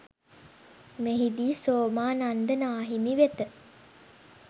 මෙහිදී සෝමානන්ද නාහිමි වෙත